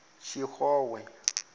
tshixowe